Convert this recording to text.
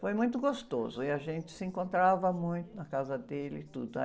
Foi muito gostoso e a gente se encontrava muito na casa dele e tudo.